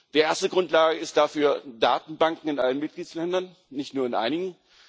Die erste Grundlage dafür sind Datenbanken in allen Mitgliedstaaten, nicht nur in einigen.